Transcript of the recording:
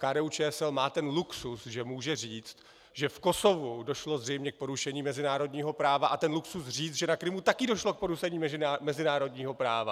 KDU-ČSL má ten luxus, že může říct, že v Kosovu došlo zřejmě k porušení mezinárodního práva, a ten luxus říct, že na Krymu taky došlo k porušení mezinárodního práva.